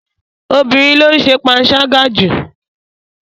Obìnrin ló ń ṣe panṣágà jù.